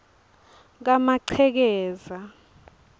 kamaqhekeza